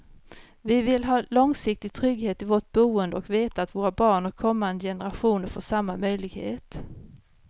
Vi vill ha långsiktig trygghet i vårt boende och veta att våra barn och kommande generationer får samma möjlighet.